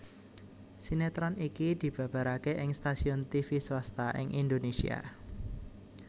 Sinetron iki dibabaraké ing stasiun tivi swasta ing Indonésia